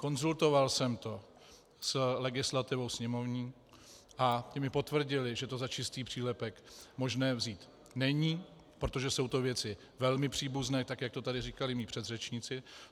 Konzultoval jsem to s legislativou sněmovní a ti mi potvrdili, že to za čistý přílepek možné vzít není, protože to jsou věci velmi příbuzné, tak jak to tady říkali mí předřečníci.